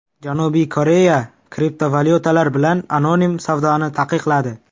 Janubiy Koreya kriptovalyutalar bilan anonim savdoni taqiqladi.